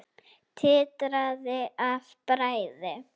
Titraði af bræði.